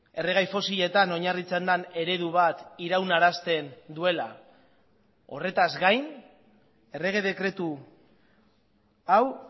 erregai fosiletan oinarritzen den eredu bat iraunarazten duela horretaz gain errege dekretu hau